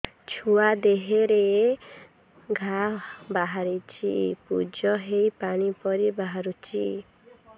ଛୁଆ ଦେହରେ ଘା ବାହାରିଛି ପୁଜ ହେଇ ପାଣି ପରି ବାହାରୁଚି